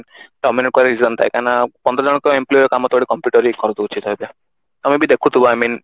ହୁଅନ୍ତା କାହିଁକି ନା ପନ୍ଦର ଜଣଙ୍କ employ ଙ୍କ କାମ ତ ଗୋଟେ computer ହିଁ କରି ଦଉଛି ଏବେ ତମେ ବି ଦେଖୁଥିବ I mean